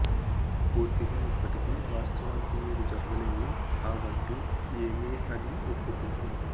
పూర్తిగా ఇప్పటికీ వాస్తవానికి మీరు జరగలేదు ఆ వంటి ఏమీ అని ఒప్పుకుంటే